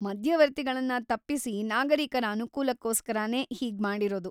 ಮಧ್ಯವರ್ತಿಗಳನ್ನ ತಪ್ಪಿಸಿ ನಾಗರಿಕರ ಅನುಕೂಲಕ್ಕೋಸ್ಕರನೇ ಹೀಗ್ಮಾಡಿರೋದು.